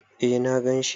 Eh na ganshi.